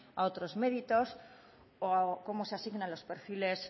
a otros méritos o cómo se asignan los perfiles